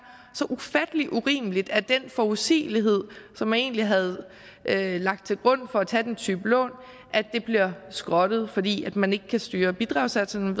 så ufattelig urimeligt nemlig at den forudsigelighed som man egentlig havde lagt til grund for at tage den type lån bliver skrottet fordi man ikke kan styre bidragssatserne